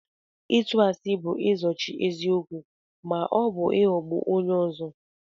ịtù àsị bu izóchi eziokwu ma ọ bu ịghọgbu onye ọzọ